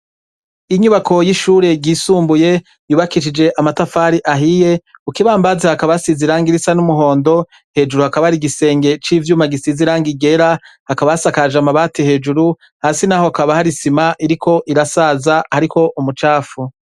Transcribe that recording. Inyubako y'ishure ryisumbuye yubakicije amatafari ahiye ukibambazi hakabasiziranga irisa n'umuhondo hejuru hakaba ari igisenge c'ivyuma gisiziranga igera hakabasakaje amabati hejuru hasi, naho kaba harisima iriko irasaza, ariko umucafu.